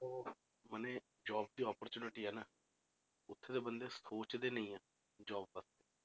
ਮਨੇ job ਦੀ opportunity ਆ ਨਾ ਉੱਥੇ ਦੇ ਬੰਦੇ ਸੋਚਦੇ ਨੀ ਹੈ job ਦਾ,